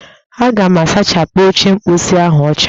Aga m asachapụ oche mposi ahụ ọcha